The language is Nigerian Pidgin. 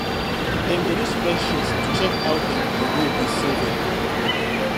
dem dey use spreadsheet to check how dem dey go with saving